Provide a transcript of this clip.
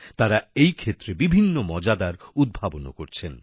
তারা এই ক্ষেত্রে বিভিন্ন মজাদার উদ্ভাবনও করছেন